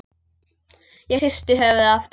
Ég hristi höfuðið aftur.